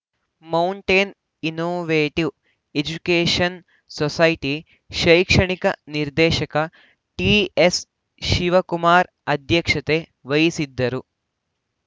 mountain innovative education society ಶೈಕ್ಷಣಿಕ ನಿರ್ದೇಶಕ ಟಿಎಸ್‌ಶಿವಕುಮಾರ್‌ ಅಧ್ಯಕ್ಷತೆ ವಹಿಸಿದ್ದರು